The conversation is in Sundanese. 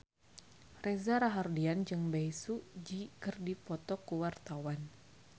Reza Rahardian jeung Bae Su Ji keur dipoto ku wartawan